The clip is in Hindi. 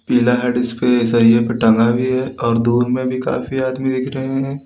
पीला सरिए पे टंगा भी है और दूर में भी काफी आदमी दिख रहे हैं।